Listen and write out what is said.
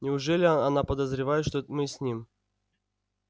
неужели она подозревает что мы с ним